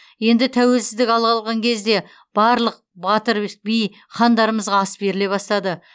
енді тәуелсіздік ала қалған кезде барлық батыр би хандарымызға ас беріле бастады